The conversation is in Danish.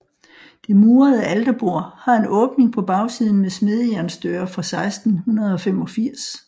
Det murede alterbord har en åbning på bagsiden med smedejernsdøre fra 1685